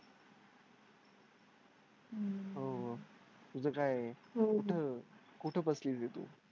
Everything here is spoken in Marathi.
हम्म हो तुझं काय कुठं कुठे बसली होती तू?